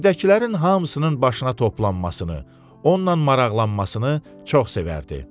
Evdəkilərin hamısının başına toplanmasını, onunla maraqlanmasını çox sevərdi.